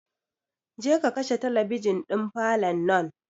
Je ka kashe talabijin ɗin falon nan!